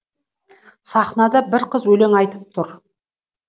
сахнада бір қыз өлең айтып тұр